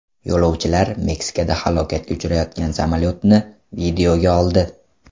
Yo‘lovchilar Meksikada halokatga uchrayotgan samolyotni videoga oldi .